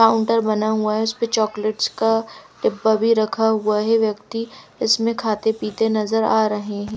Counter बना हुआ है उस पर चॉकलेट्स का डिब्बा भी रखा हुआ है व्यक्ति इसमें खाते पीते नजर आ रहे हैं।